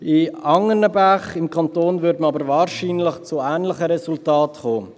Bei anderen Bächen des Kantons käme man aber wahrscheinlich zu ähnlichen Resultaten.